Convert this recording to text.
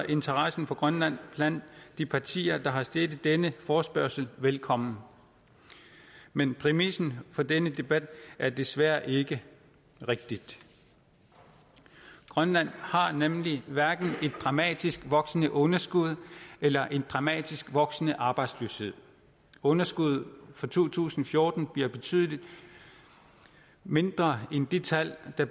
interessen for grønland blandt de partier der har stillet denne forespørgsel velkommen men præmissen for denne debat er desværre ikke rigtig grønland har nemlig hverken et dramatisk voksende underskud eller en dramatisk voksende arbejdsløshed underskuddet for to tusind og fjorten bliver betydelig mindre end de tal der